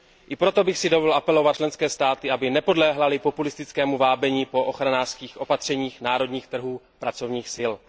I proto bych si dovolil apelovat na členské státy, aby nepodléhaly populistickému vábení ochranářských opatřeních pro národní trhy pracovních sil.